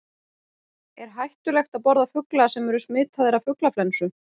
Er hættulegt að borða fugla sem smitaðir eru af fuglaflensu?